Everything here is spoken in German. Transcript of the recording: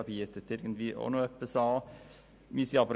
Jeder bietet auch noch irgendetwas an.